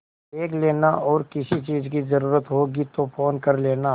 देख लेना और किसी चीज की जरूरत होगी तो फ़ोन कर लेना